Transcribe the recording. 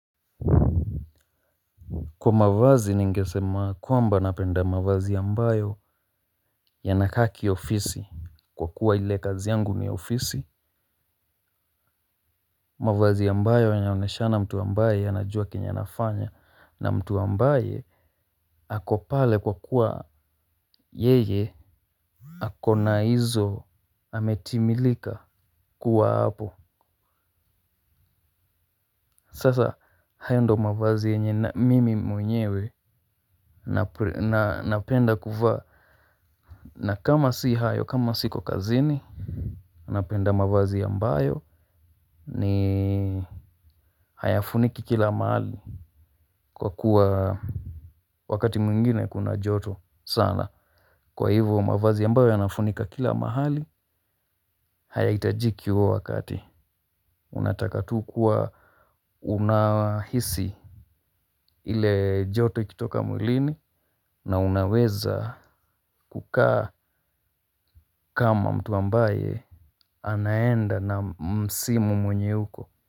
Kwa mavazi ningesema kwamba napenda mavazi ambayo yana kaki ofisi. Kwa kuwa ile kazi yangu ni ofisi. Mavazi ambayo yanaoneshana mtu ambaye anajua kenye anafanya na mtu ambaye ako pale kwa kuwa yeye ako na hizo ametimilika kuwa hapo. Sasa hayo ndo mavazi yenye mimi mwenyewe na napenda kuvaa. Na kama si hayo kama siko kazini napenda mavazi ambayo ni hayafuniki kila mahali kwa kuwa wakati mwengine kuna joto sana. Kwa hivyo mavazi ambayo yanafunika kila mahali hayahitajiki huo wakati. Unataka tu kuwa unahisi ile joto ikitoka mwilini na unaweza kukaa kama mtu ambaye anaenda na msimu mwenye uko.